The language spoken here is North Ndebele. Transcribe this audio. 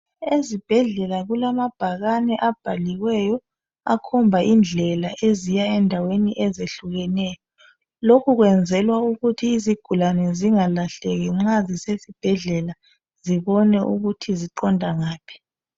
Ezibhendlela kulamabhakane abhaliweyo akhomba indlela eziya endaweni ezihlukeneyo lokhu kwenzelwa ukuthi izigulane zingalahleki nxa zisezibhedlela zibone ukuthi ziqonda ngaphi